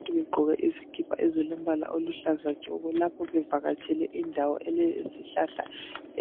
Abantu begqoke izikipa ezilombala oluhlaza tshoko lapho bevakatshele indawo elezihlahla